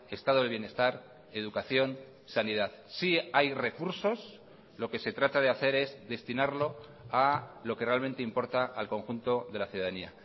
estado de bienestar educación sanidad sí hay recursos lo que se trata de hacer es destinarlo a lo que realmente importa al conjunto de la ciudadanía